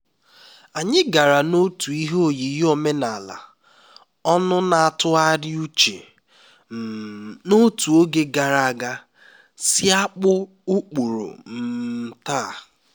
anyị gara n'otu ihe oyiyi omenala ọnụ na-atụgharị uche um n'otú oge gara aga si akpụ ụkpụrụ um taa